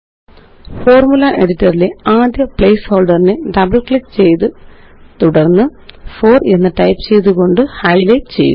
formula editor ലെ ആദ്യ പ്ലേസ്ഹോള്ഡറിനെ ഡബിള് ക്ലിക്ക് ചെയ്ത് തുടര്ന്ന് 4 എന്ന് ടൈപ്പ് ചെയ്തുകൊണ്ട് ഹൈലൈറ്റ് ചെയ്യുക